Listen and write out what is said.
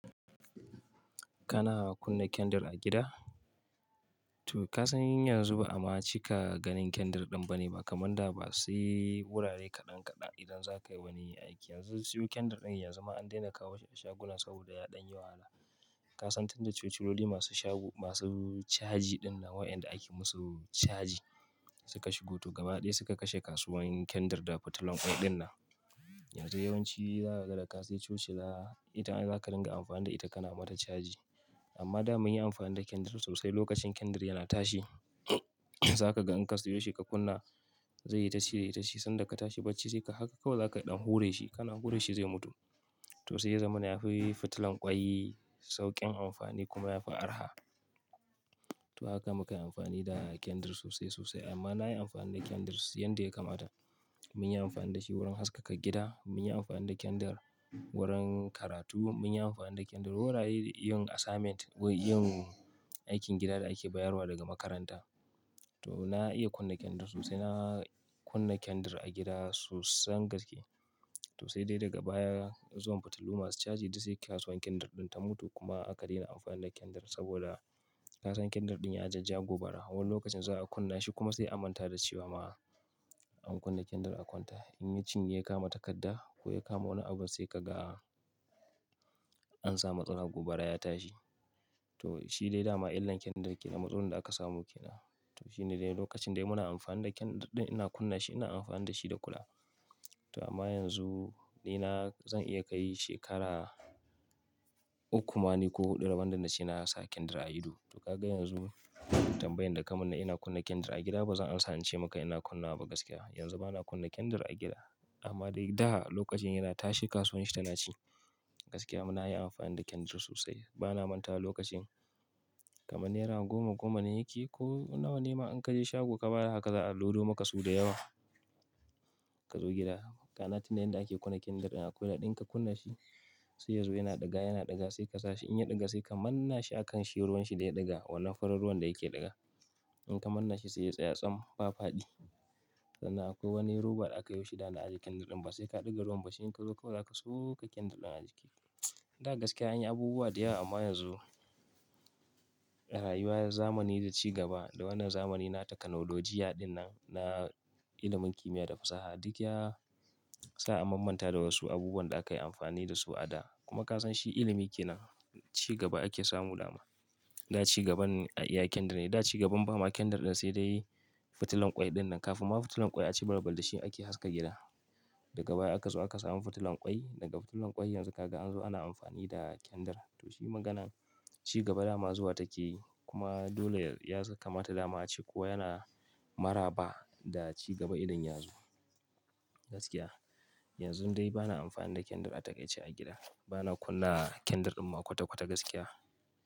Kana kunna kyandir a gida? Toh ka san yanzu ba'ama cika ganin kyandir din ba ne ba, kamar da ba sai wurare kaɗan kaɗan idan za ka yi wani aiki. Yanzu siyo kyandir din yanzu ma an daina kawo shi a shaguna saboda yaɗan yawa. Ka san tunda cuculoli masu caji din na wayanda ake musu caji suka shigo, to gaba ɗaya suka kashe kasuwan kyandir da fitilan ƙwai din nan. Yanzu yawanci za ka ga da ka sayi toci, da ita za ka dinga amfani da ita, kana mata caji. Amma da mun yi amfani da kyandir sosai, lokacin kyandir yana tashi, za ka ga in ka siyo shi ka kunna, zai yi tashi tashi sanda ka tashi bacci sai ka haƙa kawai za ka ɗan hure shi. Kana hure shi zai mutu. Toh, sai ya zama na ya fi fitilan ƙwai sauƙin amfani kuma ya fi arha. To haka muka yi amfani da candle sosai sosai. Amma na yi amfani da kyandir sosai yanda ya kamata. Mun yi amfani da shi wurin haskaka gida, mun yi amfani da kyandir wurin karatu, mun yi amfani da kyandir wurare yin assignment, wai yin aikin gida da ake bayarwa daga makaranta. Toh, na iya kunna kyandir sosai. Na kunna kyandir a gida sosan gaske. Toh sai dai daga baya zuwan fitilu masu caji, duk sai kasuwan kyandir din ta mutu kuma aka daina amfani da kyandir saboda ka san kyandir din ya jajja gobara. Wani lokacin za ka kunna shi, kuma sai a manta da shi ba ma an kunna kyandir a kwanta. In yacinye ya kama takadda, ko ya kama wani abu sai ka ga an samu tsaron gobara ya tashi. Toh, shi dai dama illan kyandir kenan, matsinin da aka samu kenan. To shi ne dai lokacin dai muna amfani da kyandir din, ina kunna shi, ina amfani da shi da kula. Toh amma yanzu ni na, zan iya kai shekara uku, mani ko huɗu rabon da na ci na sa kyandir a ido. Toh ka ga yanzu tambayin da ka mun na ina kunna kyandir a gida? Ba zan amsa ce maka ina kunna ba gaskiya. Yanzu ba na kunna kyandir a gida. Amma dai da lokacin yana tashe kasuwanshi tana ci. Gaskiya mu na yi amfani da kyandir sosai. Ba na mantawa lokacin kaman nera goma-goma ne yake, ko nawa nema in ka je shago ka bayar haka za a lodo maka su da yawa. Ka zo gida. Kana tuna yanda ake kunna kyandir din akwai ɗin ka kunna shi. Sai yazo yana ɗiga yana ɗiga sai ka sashi in ya ɗiga sai ka manne shi a kan shi ruwan shi da ya ɗiga wannan farar ruwan da yake ɗiga. In ka manna shi sai ya tsaya tsam ba faɗi. Sannan akwai wani roba da aka yi shida da aje candle din ba sai ka ɗiga ruwan ba shi in ka zo kawai za ka soƙa kyandir din a jiki. Da gaskiya anyi abubuwa da yawa amma yanzu rayuwar zamani da ci gaba da wannan zamani na takanolojiya din nan na ilimin kimiyya da fasaha duk ya sa an mammanta da wasu abubuwan da aka yi amfani da su a da. Kuma ka san shi ilimi ke nan. Ci gaba ake samu dama. Da cigaban iya kyandir ne, da cigaban bama kyandir din sai dai fitilan ƙwai din nan. Kafin ma fitilan ƙwai a ci balbal da shi ake haska gida. Daga baya aka zo aka samu fitilan ƙwai. Daga fitilan ƙwai yanzu ka ga an zo ana amfani da kyandir. Toh shi maganan ci gaba dama zuwa take yi. Kuma dole ya kamata dama ce ko yana maraba, da ci gaba idan ya zo. Gaskiya yanzu dai ba na amfani da kyandir a takaici a gida. Ba na kunna kyandir din ma kwata kwata gaskiya.